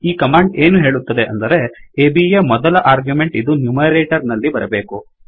ಈ ಕಮಾಂಡ್ ಏನು ಹೇಳುತ್ತದೆ ಅಂದರೆ ABಯ ಮೊದಲ ಆರ್ಗ್ಯುಮೆಂಟ್ಇದು ನ್ಯುಮೆರೆಟೊರ್ ನಲ್ಲಿ ಬರಬೇಕು